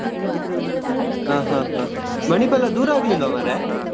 ಹಾ ಹಾ ಹಾ Manipal ದೂರ ಆಗ್ಲಿಲ್ಲಾ ಮಾರ್ರೆ.